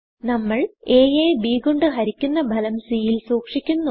നമ്മൾ a യെ b കൊണ്ട് ഹരിക്കുന്നു ഭലം cൽ സൂക്ഷിക്കുന്നു